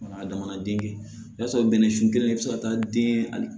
A damana den sɔrɔ bɛnɛsun kelen bɛ se ka taa den hali